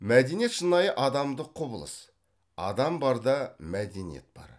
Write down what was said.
мәдениет шынайы адамдық құбылыс адам бар да мәдениет бар